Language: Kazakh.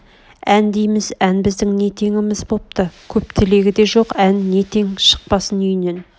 ән дейміз ән біздің не теңіміз бопты көп тілегі де жоқ ән не тең шықпасын үйнен